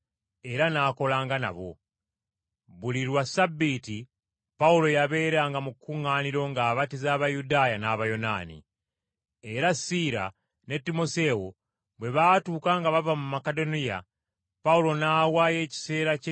Era Siira ne Timoseewo bwe baatuuka nga bava mu Makedoniya, Pawulo n’awaayo ekiseera kye kyonna mu kubuulira Ekigambo n’okukakasa Abayudaaya nti Yesu ye Kristo.